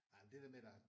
Ej men det der med der er